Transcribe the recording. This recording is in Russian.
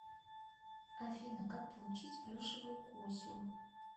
афина как получить плюшевую кусю